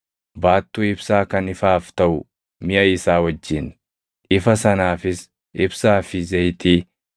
baattuu ibsaa kan ifaaf taʼu miʼa isaa wajjin, ifa sanaafis ibsaa fi zayitii,